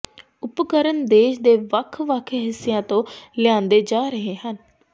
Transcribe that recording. ਉਪਕਰਣ ਦੇਸ਼ ਦੇ ਵੱਖ ਵੱਖ ਹਿੱਸਿਆਂ ਤੋਂ ਲਿਆਂਦੇ ਜਾ ਰਹੇ ਹਨ